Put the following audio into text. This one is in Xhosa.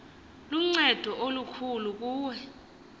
luncedo olukbulu kuwe